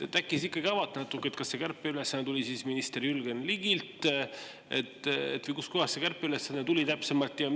Äkki ikkagi avate natuke, kas see kärpeülesanne tuli minister Jürgen Ligilt või kust kohast see kärpeülesanne tuli täpsemalt?